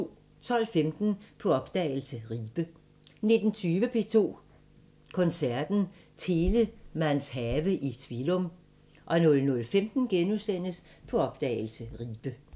12:15: På opdagelse – Ribe 19:20: P2 Koncerten – Telemanns have i Tvilum 00:15: På opdagelse – Ribe *